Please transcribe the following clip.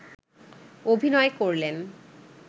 অভিনয় করলেন